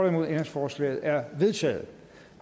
ændringsforslaget er vedtaget